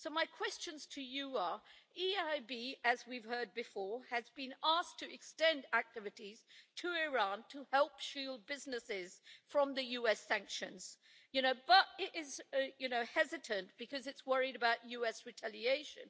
So my questions to you are the EIB, as we've heard before, has been asked to extend its activities to Iran to help shield businesses from the US sanctions, but it is hesitant because it is worried about US retaliation.